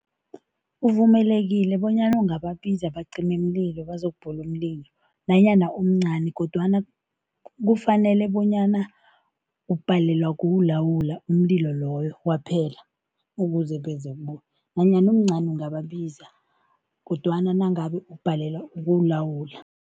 Uvumelekile bonyana ungabiza abacimimlilo bazokubhula umlilo nanyana umncani kodwana kufanele bonyana ubhalelwa kuwulawula umlilo loyo kwaphela, ukuze beze nanyana umncani ungababiza kodwana nangabe ubhalelwa ukuwulawula.